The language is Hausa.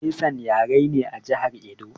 Esan yare ne a jihar Edo